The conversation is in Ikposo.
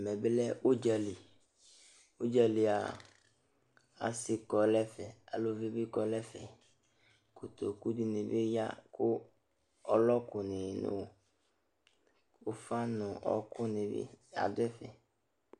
Ɛmɛ bɩ lɛ ʋdza li Ʋdza li yɛ a, asɩ kɔ nʋ ɛfɛ, uluvi bɩ kɔ nʋ ɛfɛ Kotoku dɩnɩ bɩ ya kʋ ɔlɔkʋnɩ nʋ ʋf́a nʋ ɔɣɔkʋnɩ bɩ adʋ ɛfɛ